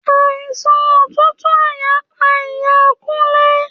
Àìsàn òtútù àyà pa iya Kunle.